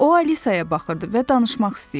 O Alisaya baxırdı və danışmaq istəyirdi.